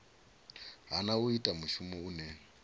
hana u ita mushumo une